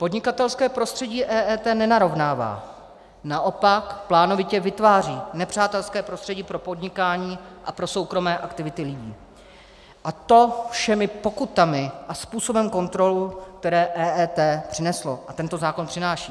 Podnikatelské prostředí EET nenarovnává, naopak plánovitě vytváří nepřátelské prostředí pro podnikání a pro soukromé aktivity lidí, a to všemi pokutami a způsobem kontrol, které EET přineslo a tento zákon přináší.